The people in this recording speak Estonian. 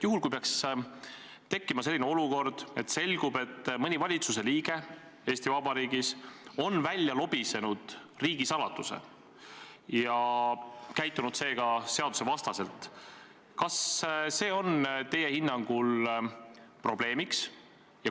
Juhul kui peaks tekkima selline olukord, kus selgub, et mõni Eesti Vabariigi valitsuse liige on välja lobisenud riigisaladuse ja käitunud seega seadusvastaselt, kas see on teie hinnangul probleem?